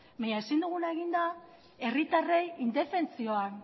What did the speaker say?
baina ezin duguna egin da herritarrei indefentsioan